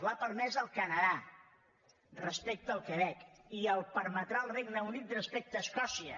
l’ha permès el canadà respecte al quebec i la permetrà el regne unit respecte a escòcia